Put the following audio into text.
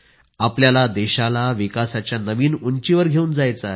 आपल्याला देशाला विकासाच्या नवीन उंचीवर घेवून जायचे आहे